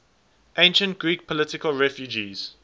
ancient greek political refugees